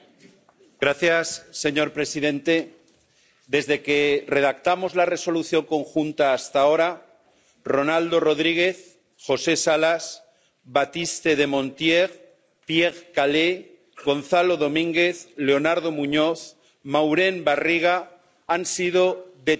Señor presidente, desde que redactamos la Resolución común hasta ahora, Ronaldo Rodríguez, José Salas, Baptiste des Monstiers, Pierre Caillé, Gonzalo Domínguez, Leonardo Muñoz y Maurén Barriga han sido detenidos en Venezuela.